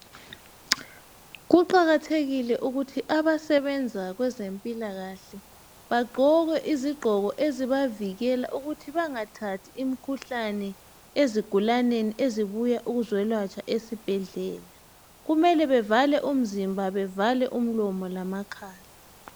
Kuqakathekile ukuthi abasebenza kwezempilakahle bagqoke izigqoko ezibavikela ukuthi bangathathi imkhuhlane ezigulaneni ezibuya ukuzolatshwa esibhedlela. Kumele bevale umzimba, bevale umlomo lamakhala.